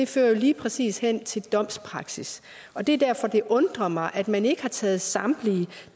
fører jo lige præcis hen til domspraksis og det er derfor det undrer mig at man ikke har taget samtlige